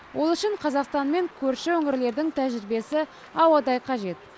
ол үшін қазақстанмен көрші өңірлердің тәжірибесі ауадай қажет